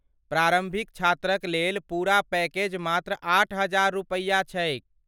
प्रारम्भिक छात्रक लेल पूरा पैकेज मात्र आठ हजार रुपैया छैक ।